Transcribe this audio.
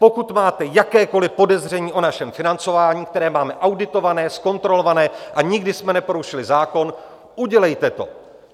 Pokud máte jakékoli podezření o našem financování, které máme auditované, zkontrolované, a nikdy jsme neporušili zákon, udělejte to.